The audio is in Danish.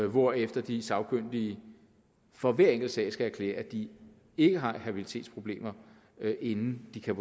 hvorefter de sagkyndige for hver enkelt sag skal erklære at de ikke har habilitetsproblemer inden de kan